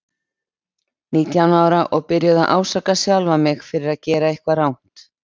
Nítján ára og byrjuð að ásaka sjálfa mig fyrir að gera eitthvað rangt.